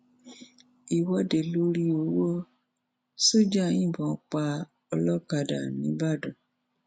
ìwọde lórí owó sójà yìnbọn pa olókàdá nìbàdàn